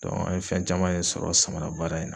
an ye fɛn caman de samana baara in na.